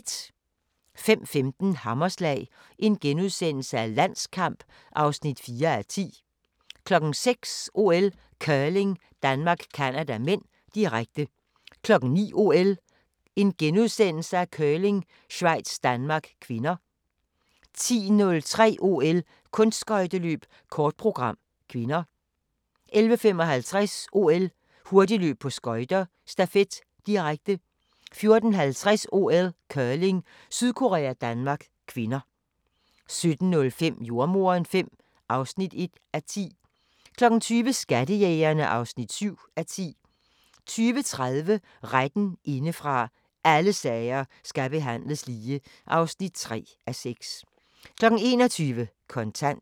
05:15: Hammerslag – Landskamp (4:10)* 06:00: OL: Curling - Danmark-Canada (m), direkte 09:00: OL: Curling - Schweiz-Danmark (k) * 10:30: OL: Kunstskøjteløb - kort program (k) 11:55: OL: Hurtigløb på skøjter - stafet, direkte 14:50: OL: Curling - Sydkorea-Danmark (k) 17:05: Jordemoderen V (1:10) 20:00: Skattejægerne (7:10) 20:30: Retten indefra - alle sager skal behandles lige (3:6) 21:00: Kontant